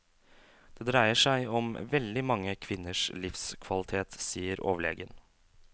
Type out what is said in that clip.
Det dreier seg om veldig mange kvinners livskvalitet, sier overlegen.